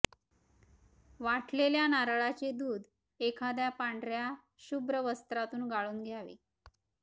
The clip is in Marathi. वाटलेल्या नारळाचे दूध एखाद्या पांढऱ्या शुभ्र वस्त्रातून गळून घ्यावे